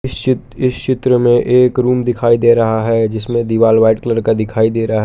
इस चि इस चित्र में एक रूम दिखाई दे रहा है जिसमें दीवार व्हाइट कलर का दिखाई दे रहा है।